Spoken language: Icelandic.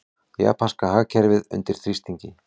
Japanska hagkerfið undir þrýstingi